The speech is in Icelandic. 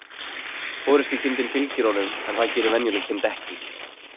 Forystukindin fylgir honum, en það gerir venjuleg kind ekki.